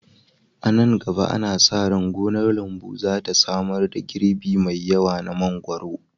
A nan gaba, ana sa ran gonar lambu za ta samar da girbi mai yawa na mangwaro